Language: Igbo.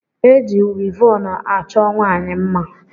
Eji wivọn a chọọ nwaanyị mma.